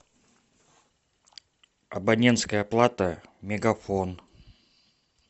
абонентская плата мегафон